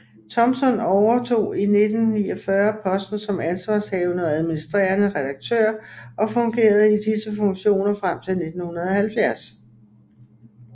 Thompson overtog i 1949 posten som ansvarshavende og administrerende redaktør og fungerede i disse funktioner frem til 1970